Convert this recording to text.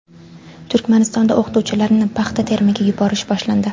Turkmanistonda o‘qituvchilarni paxta terimiga yuborish boshlandi.